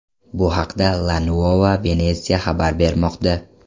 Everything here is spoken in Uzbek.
Bu haqda La Nuova Venezia xabar bermoqda .